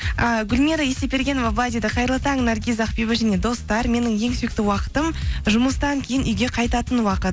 ііі гүлмира есепбергенова былай дейді қайырлы таң наргиз ақбибі және достар менің ең сүйікті уақытым жұмыстан кейін үйге қайтатын уақыт